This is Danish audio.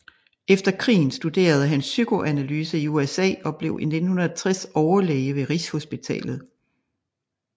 Efter krigen studerede han psykoanalyse i USA og blev i 1960 overlæge ved Rigshospitalet